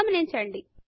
గమనించండి